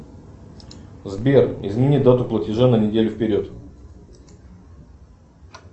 сбер измени дату платежа на неделю вперед